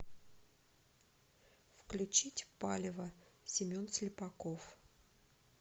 включить палево семен слепаков